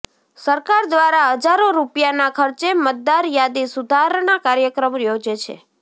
સરકાર દ્વારા હજારો રૃપિયાના ખર્ચે મતદાર યાદી સુધારણા કાર્યક્રમ યોજે છે